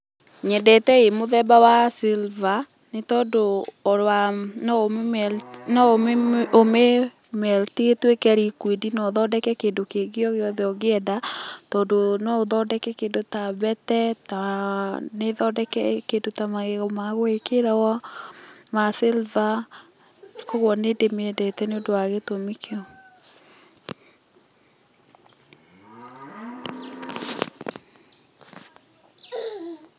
Nyendete ĩ mũthemba wa silver nĩ tondũ wa no ũmĩ melt, no ũmĩ melt i, ĩtuĩke liquid na ũthondeke kĩndũ o gĩothe ũngĩenda, tondũ no ũthondeke kĩndũ ta mbete, ta na ũthondeke kĩndũ ta magego ma gwĩkĩrwo, ma silver. Koguo nĩ ndĩmĩendete nĩ tondũ wa gĩtũmi kĩu.